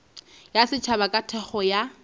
ya setšhaba ka thekgo ya